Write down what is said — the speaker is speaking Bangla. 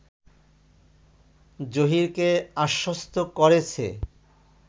জহীরকে আশ্বস্ত করেছে